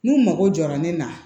N'u mago jɔra ne na